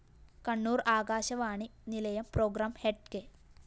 കണ്ണൂര്‍ ആകാശവാണി നിലയം programme head K